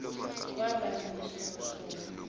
kwaba yiso sona